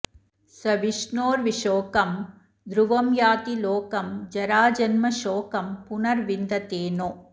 स विष्णोर्विशोकं ध्रुवं याति लोकं जराजन्मशोकं पुनर्विन्दते नो